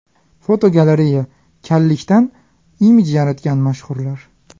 Fotogalereya: Kallikdan imij yaratgan mashhurlar.